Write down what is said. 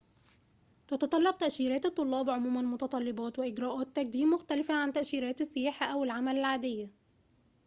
تتطلب تأشيرات الطلاب عموماً متطلبات وإجراءات تقديم مختلفة عن تأشيرات السياحة أو العمل العادية